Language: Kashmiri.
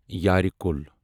یارِ کُل